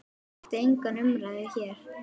Það vakti enga umræðu hér.